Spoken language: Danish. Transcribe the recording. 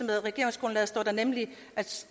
regeringsgrundlaget står der nemlig at